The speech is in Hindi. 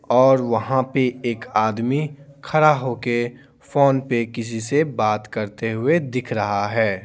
और वहाँ पे एक आदमी खड़ा होके फोन पे किसी से बात करते हुए दिख रहा है।